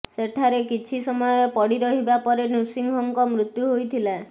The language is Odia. ସେଠାରେ କିଛି ସମୟ ପଡ଼ିରହିବା ପରେ ନୃସିଂହଙ୍କ ମୃତ୍ୟୁ ହୋଇଥିଲା